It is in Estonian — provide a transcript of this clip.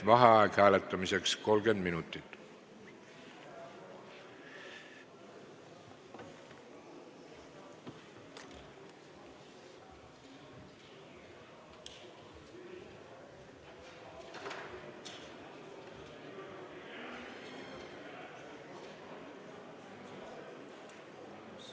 Vaheaeg hääletamiseks: 30 minutit.